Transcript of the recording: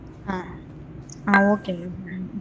ஆ. ஆ. okayங்க.